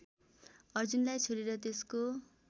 अर्जुनलाई छोडेर त्यसको